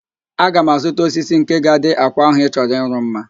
Aga m azụta osisi nke ga-adị àkwà ahụ ị chọrọ ịrụ mma